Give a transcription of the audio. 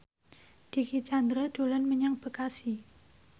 Dicky Chandra dolan menyang Bekasi